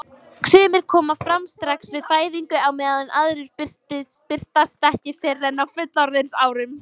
Sumir koma fram strax við fæðingu á meðan aðrir birtast ekki fyrr en á fullorðinsárum.